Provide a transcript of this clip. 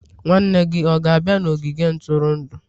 nwanne gị ọ ga-abịa n'ogige ntụrụndụ?